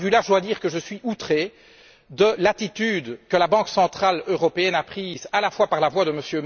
Et de ce point de vue, je dois dire que je suis outré de l'attitude que la Banque centrale européenne a manifestée à la fois par la voix de M.